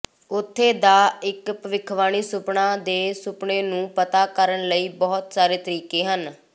ਉੱਥੇ ਦਾ ਇਕ ਭਵਿੱਖਬਾਣੀ ਸੁਪਨਾ ਦੇ ਸੁਪਨੇ ਨੂੰ ਪਤਾ ਕਰਨ ਲਈ ਬਹੁਤ ਸਾਰੇ ਤਰੀਕੇ ਹਨ